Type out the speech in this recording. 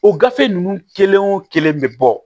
O gafe ninnu kelen wo kelen bɛ bɔ